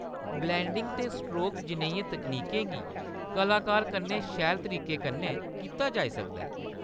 Blending ते strokes जनेहियें तकनीकें गी कलाकार कन्नै शैल तरीके कन्नै कीता जाई सकदा ऐ।